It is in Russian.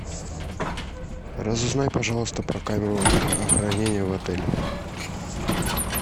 разузнай пожалуйста про камеру хранения в отеле